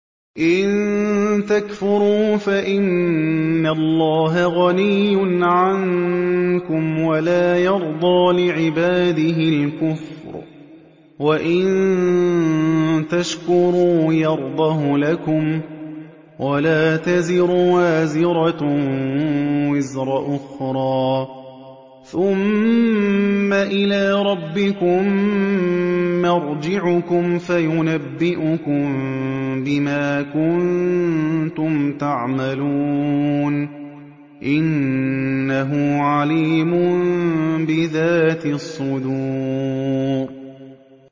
إِن تَكْفُرُوا فَإِنَّ اللَّهَ غَنِيٌّ عَنكُمْ ۖ وَلَا يَرْضَىٰ لِعِبَادِهِ الْكُفْرَ ۖ وَإِن تَشْكُرُوا يَرْضَهُ لَكُمْ ۗ وَلَا تَزِرُ وَازِرَةٌ وِزْرَ أُخْرَىٰ ۗ ثُمَّ إِلَىٰ رَبِّكُم مَّرْجِعُكُمْ فَيُنَبِّئُكُم بِمَا كُنتُمْ تَعْمَلُونَ ۚ إِنَّهُ عَلِيمٌ بِذَاتِ الصُّدُورِ